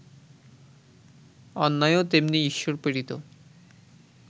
অন্যায়ও তেমনি ঈশ্বরপ্রেরিত